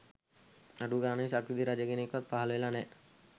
අඩු ගාණේ සක්විති රජ කෙනෙක්වත් පහළ වෙලා නෑ